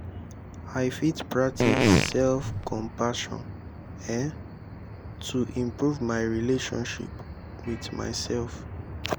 i fit practice self-compassion um to improve my relationship with myself.